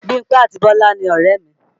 Bímpé àti Bolaji ni ọ̀rẹ́ mi